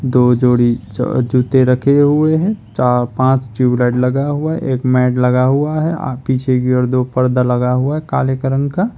दो जोड़ी ज जूते रखे हुए हैं चा पांच ट्यूब लाइट लगा हुआ है एक मैट लगा हुआ है आ पीछे की ओर दो पर्दा लगा हुआ है काले कलर का।